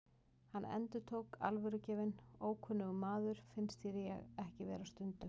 Hann endurtók, alvörugefinn: Ókunnugur maður, finnst þér ekki ég vera stundum?